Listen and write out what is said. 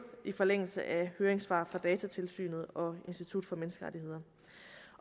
i forlængelse af høringssvar fra datatilsynet og institut for menneskerettigheder